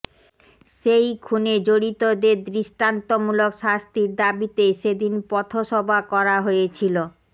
সেই খুনে জড়িতদের দৃষ্টান্তমূলক শাস্তির দাবিতে সেদিন পথ সভা করা হয়েছিল